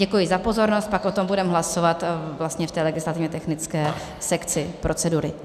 Děkuji za pozornost, pak o tom budeme hlasovat v té legislativně technické sekci procedury.